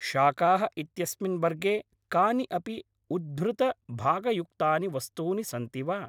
शाकाः इत्यस्मिन् वर्गे कानि अपि उद्धृतभागयुक्तानि वस्तूनि सन्ति वा?